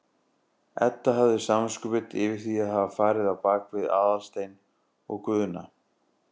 Edda hafði samviskubit yfir því að hafa farið á bak við Aðalstein og Guðna.